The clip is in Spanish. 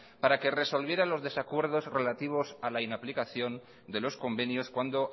para que resolviera los desacuerdos relativos a la inaplicación de los convenios cuando